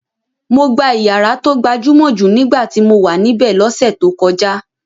Mo gbà ìyàrá tó gbajúmọ̀ jù nígbà tí mo wà níbẹ̀ lọ́sẹ̀ tó kọjá.